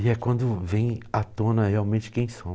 E é quando vem à tona realmente quem